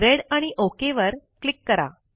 red आणि okay वर click करा